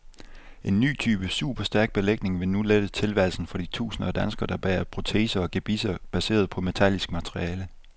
En ny type superstærk belægning vil nu lette tilværelsen for de tusinder af danskere, der bærer proteser og gebisser baseret på metallisk materiale.